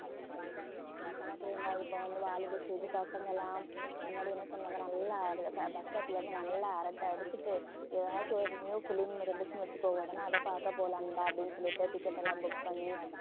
ஆமா பிரியங்கா இப்ப வந்து வாலிப stage பசங்க எல்லாம் முன்னாடி என்ன சொல்லுவாங்கன்னா நல்லா அதுல bu~ bus stop ல இருந்து நல்லா அரட்டை அடிச்சிட்டு ஏதாச்சு ஒரு new film இருந்துச்சுன்னு வச்சுக்கோங்க உடனே அதை பார்க்க போலாம்டா அப்படின்னு சொல்லிட்டு ticket எல்லாம் book பண்ணி